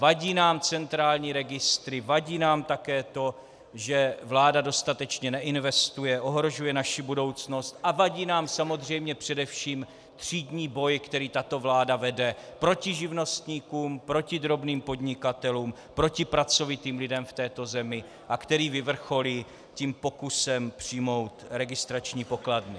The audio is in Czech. Vadí nám centrální registry, vadí nám také to, že vláda dostatečně neinvestuje, ohrožuje naši budoucnost, a vadí nám samozřejmě především třídní boj, který tato vláda vede proti živnostníkům, proti drobným podnikatelům, proti pracovitým lidem v této zemi a který vyvrcholí tím pokusem přijmout registrační pokladny.